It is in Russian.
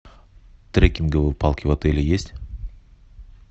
трекинговые палки в отеле есть